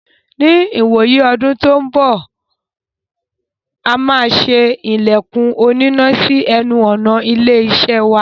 Ní ìwòyí ọdún tó n bọ̀,a máa ṣe ilẹ̀kùn onínà sí ẹnu ọ̀nà ilé-iṣẹ́ wa.